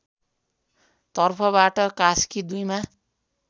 तर्फबाट कास्की २ मा